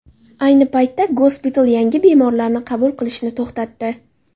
Ayni paytda gospital yangi bemorlarni qabul qilishni to‘xtatdi.